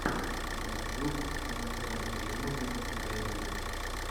ютьюб инфэнтримуви даймир